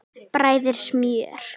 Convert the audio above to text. Bræðið smjör.